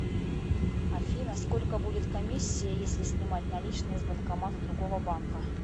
афина сколько будет комиссия если снимать наличные с банкомата другого банка